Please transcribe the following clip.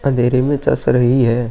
अंधेरे में चस रही है।